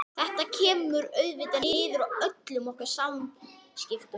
Þetta kemur auðvitað niður á öllum okkar samskiptum.